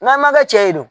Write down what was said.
N'a ma kɛ cɛ ye dun